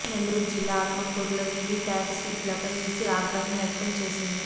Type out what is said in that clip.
నెల్లూరు జిల్లా ఆత్మకూరులో VVPAT స్లిప్పులపై ఈసీ ఆగ్రహం వ్యక్తం చేసింది